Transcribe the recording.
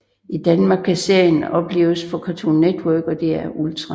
I Danmark kan serien opleves på Cartoon Network og DR Ultra